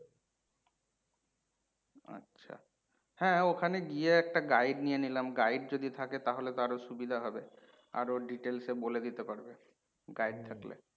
আচ্ছা। হ্যাঁ ওখানে গিয়ে একটা guide নিয়ে নিলাম। Guide যদি থাকে তাহলে তো আরও সুবিধা হবে আরও details এ বলে দিতে পারবে guide থাকলে।